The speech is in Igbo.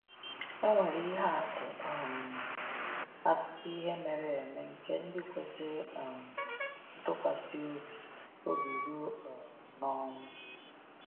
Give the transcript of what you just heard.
E nwere ihe atụ um akụkọ ihe mere eme nke ndị kwesịrị um ntụkwasị obi obi ruo um n’ọnwụ.